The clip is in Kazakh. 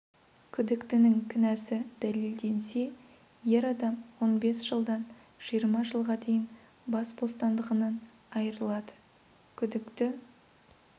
күдіктінің кінәсі дәлелденсе ер адам он бес жылдан жиырма жылға дейін бас бостандығынан айырылады күдікті